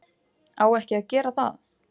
Á ekki að gera það.